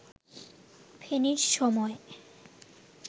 ফেনীর সময়